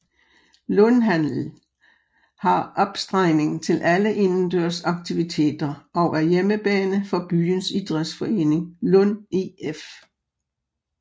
Lundhallen har opstregning til alle indendørs aktiviteter og er hjemmebane for byens idrætsforening Lund IF